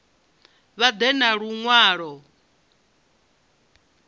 vha ḓe na lu ṅwalo